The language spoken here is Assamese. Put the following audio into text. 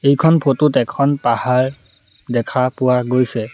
এইখন ফটো ত এখন পাহাৰ দেখা পোৱা গৈছে।